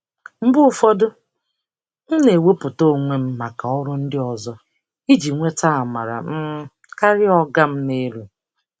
Mgbe ụfọdụ, m na-ewepụta onwe m maka ọrụ ndị ọzọ iji nweta amara um karịa "ọga m n'elu."